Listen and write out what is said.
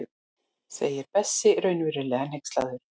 segir Berti raunverulega hneykslaður.